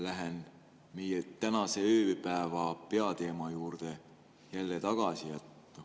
Lähen meie tänase ööpäeva peateema juurde jälle tagasi.